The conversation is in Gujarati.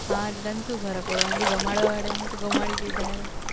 હા તો તન સુ ફર્ક પાડવાનો જેને ગમાંડવાના એને તો ગમાડી લીધા હે